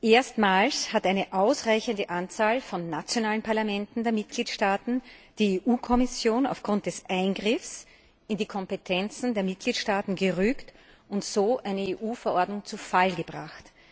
Erstmals hat eine ausreichende Anzahl von nationalen Parlamenten der Mitgliedstaaten die Europäische Kommission aufgrund des Eingriffs in die Kompetenzen der Mitgliedstaaten gerügt und so eine EU Verordnung zu Fall gebracht.